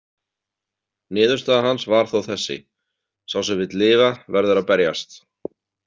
Niðurstaða hans var þó þessi: Sá sem vill lifa verður að berjast.